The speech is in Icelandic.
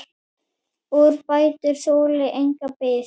Úrbætur þoli enga bið.